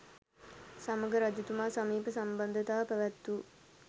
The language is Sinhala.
සමඟ රජතුමා සමීප සම්බන්ධතා පැවැත් වූ